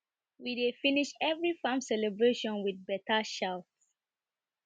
we dey finish every farm celebration with better shout